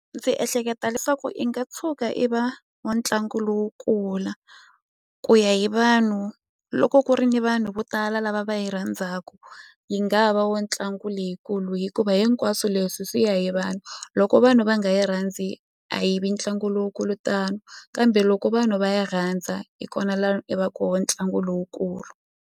Ndzi ehleketa leswaku i nga tshuka i va wa ntlangu lowu kula ku ya hi vanhu loko ku ri ni vanhu vo tala lava va yi rhandzaku yi nga va wa ntlangu leyikulu hikuva hinkwaswo leswi swi ya hi vanhu loko vanhu va nga yi rhandzi a yivi ntlangu lowukulu tano kambe loko vanhu va yi rhandza hi kona la i va koho ntlangu lowukulu.